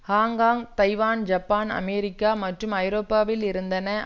Hong Kong Taiwan Japan America மற்றும் ஐரோப்பாவில் இருந்தான